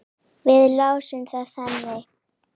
Við lásum það þannig.